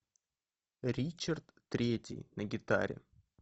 ричард третий на гитаре